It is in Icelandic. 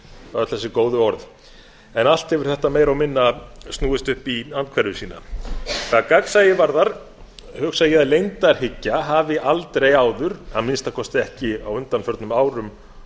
öll þessi góðu orð en allt hefur þetta meira og minna snúist upp í andhverfu sína hvað gagnsæi varðar hugsa ég að leyndarhyggja hafi aldrei áður að minnsta kosti ekki á undanförnum árum